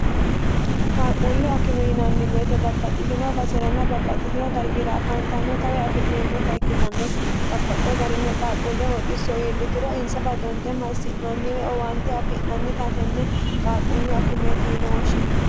qaalqquullu akime yinanni weete babbaxxitino baserana babbaxxitino dargiira afaantanno tawe afi'neemmota ikkitanna babbaxxewo garinni qaalquulle hooxxisso iillituro insa badonte massi'nanniwe owaante afi'nannitatenne qaaqquullu akimeeti yine woshshine